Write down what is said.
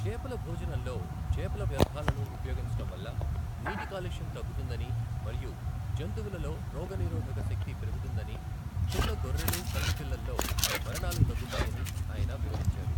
చేపల భోజనంలో చేపల వ్యర్థాలను ఉపయోగించడం వల్ల నీటి కాలుష్యం తగ్గుతుందని మరియు జంతువులలో రోగనిరోధక శక్తి పెరుగుతుందని, చిన్న గొర్రెలు పందిపిల్లల్లో మరణాలు తగ్గుతాయని ఆయన వివరించారు.